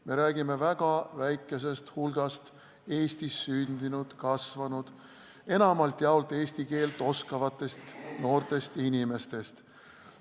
Me räägime väga väikesest hulgast Eestis sündinud, kasvanud, enamalt jaolt eesti keelt oskavatest noortest inimestest.